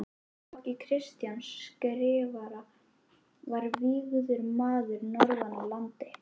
Í flokki Kristjáns Skrifara var vígður maður norðan af landi.